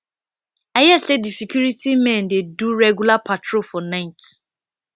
i hear say the security men dey do regular patrol for night